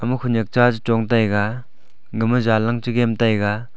ama khawnyak cha che chong taiga gama jan lang chegem taiga.